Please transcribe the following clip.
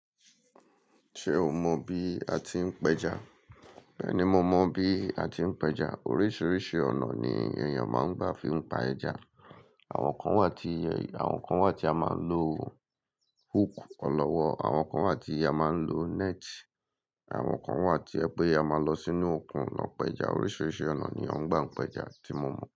Ṣé o mọ bí a ti ń péja? Bẹ́ẹ̀ni, mo mọ bí a ti ń péja. Oríṣiríṣi ọ̀nà ni èèyàn máa ń gbà fi ń pa ẹja. Àwọn kan wà tí, àwọn kan wà tí a máa ń lo hook ọlọ́wọ́, àwọn kan wà tí a máa ń lo net, àwọn kan wà tí ẹ pé a máa lọ sínú òkun lọ péja. Oríṣiríṣi ọ̀nà ni wọ́n ń gbà n péja tí mo mọ̀